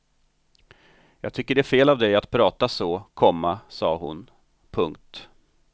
Jag tycker det är fel av dig att prata så, komma sa hon. punkt